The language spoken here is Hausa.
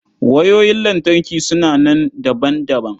Wayoyin lantarki suna nan daban-daban.